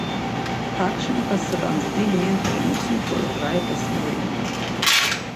Kakšen pa se vam zdi njen trenutni položaj v Sloveniji?